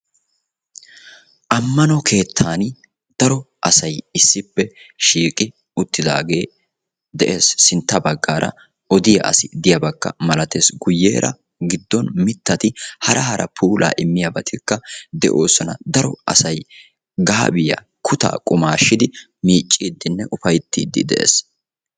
Ammano keettani daro asay issippe shiiqqi uttidaagee de'es. Sintta baggaara odiya asi diyabakka milattees. Guyeera giddon mittatti hara hara puulaa immiyabatikka de'oosona. Daro asay gaabiyaa kuttaa qummaashidi miicciidinne ufayttidi de'ees.